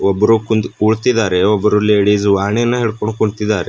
ಒಬ್ರು ಕುಂತ್ ಕುಳ್ತಿದಾರೆ ಒಬ್ರು ಲೇಡಿಸ್ ವಾಣಿನ ಹಿಡ್ಕೊಂಡ್ ಕುಂತಿದಾರೆ.